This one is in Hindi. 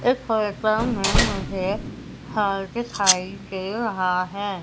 इस में मुझे हॉल दिखाई दे रहा है।